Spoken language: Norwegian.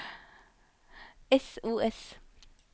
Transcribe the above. sos